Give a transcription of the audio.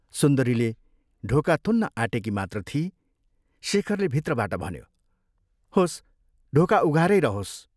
सुन्दरीले ढोका थुन्न आँटेकी मात्र थिई, शेखरले भित्रबाट भन्यो, " होस्, ढोका उघारै रहोस्।